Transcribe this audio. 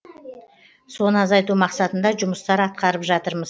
соны азайту мақсатында жұмыстар атқарып жатырмыз